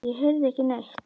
Ég heyrði ekki neitt.